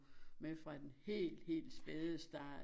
Med fra den helt helt spæde start